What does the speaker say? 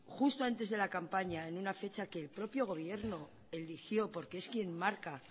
justo antes de la campaña en una fecha que el propio gobierno eligió porque es quién marca